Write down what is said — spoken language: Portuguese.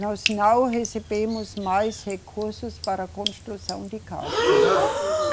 Nós não recebemos mais recursos para construção de casas, né? Uhum.